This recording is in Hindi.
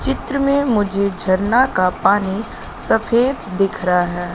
चित्र में मुझे झरना का पानी सफेद दिख रहा है।